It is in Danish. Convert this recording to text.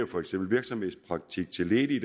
for eksempel virksomhedspraktik til ledige